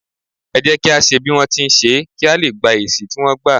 é jẹ kí à ṣe bí wọn ti n ṣe, kí a lé gbá èsì tí wọ́n gba